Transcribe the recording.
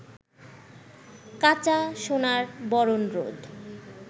কাঁচা সোনার বরন রোদ